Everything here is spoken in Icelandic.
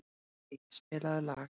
Nansý, spilaðu lag.